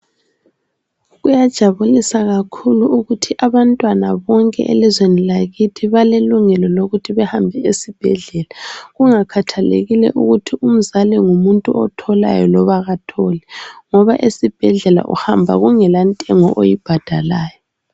Kuyajabulisa kakhulu ukuthi abantwana bonke elizweni lakithi balelungelo lokuthi behambe esibhedlela kungakhathelekile ukuthi umzali ngumuntu otholayo kumbe katholi ngoba esibhedlela uhamba kungela ntengo oyibhadalayo